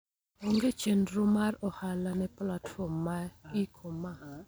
Onge chendro mar ohala ne platform mar e-commerce.